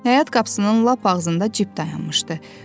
Həyət qapısının lap ağzında cip dayanmışdı.